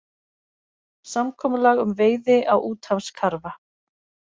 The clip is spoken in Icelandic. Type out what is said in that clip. Samkomulag um veiði á úthafskarfa